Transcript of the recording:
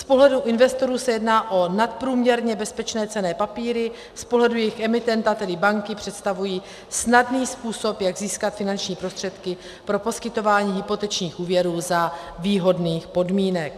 Z pohledu investorů se jedná o nadprůměrně bezpečné cenné papíry, z pohledu jejich emitenta, tedy banky, představují snadný způsob, jak získat finanční prostředky pro poskytování hypotečních úvěrů za výhodných podmínek.